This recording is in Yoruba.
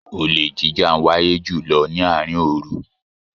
Olè jíjà ń wáyé jùlọ ni àárín òòru